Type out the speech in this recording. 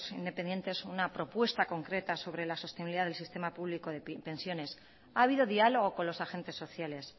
independientes una propuesta concreta sobre la sostenibilidad del sistema público de pensiones ha habido diálogo con los agentes sociales